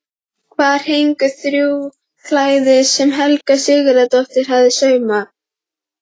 Þar héngu þrjú klæði sem Helga Sigurðardóttir hafði saumað.